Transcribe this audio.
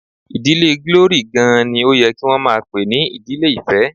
Ìdílé Glory gan-an ni ó yẹ kí wọn máa pè ní Ìdílé ìfẹ́.